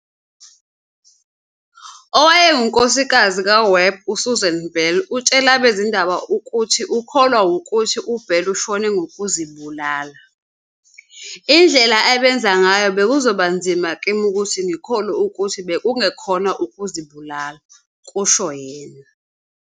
Owayengunkosikazi kaWebb uSusan Bell utshele abezindaba ukuthi ukholwa wukuthi uWebb ushone ngokuzibulala."Indlela abenza ngayo bekuzoba nzima kimi ukuthi ngikholwe ukuthi bekungekhona ukuzibulala," kusho yena.